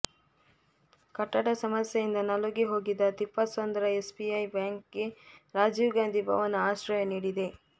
ಕಟ್ಟಡ ಸಮಸ್ಯೆಯಿಂದ ನಲುಗಿ ಹೋಗಿದ್ದ ತಿಪ್ಪಸಂದ್ರ ಎಸ್ಬಿಐ ಬ್ಯಾಂಕ್ಗೆ ರಾಜೀವ್ ಗಾಂಧಿ ಭವನ ಆಶ್ರಯ ನೀಡಿದೆ